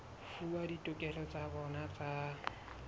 fuwa ditokelo tsa bona tsa